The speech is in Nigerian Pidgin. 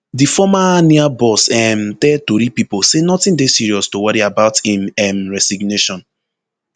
di former nia boss um tell tori pipo say notin dey serious to worry about im um resignation